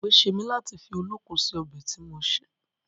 Ìgbàgbé ṣe mí láti fi olókun sì ọbẹ̀ tí mo ṣè